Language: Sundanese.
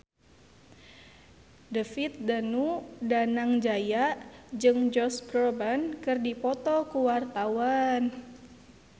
David Danu Danangjaya jeung Josh Groban keur dipoto ku wartawan